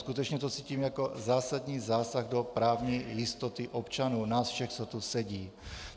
Skutečně to cítím jako zásadní zásah do právní jistoty občanů, nás všech, co tu sedí.